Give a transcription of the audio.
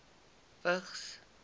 vigs